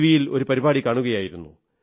വിയിൽ ഒരു പരിപാടി കാണുകയായിരുന്നു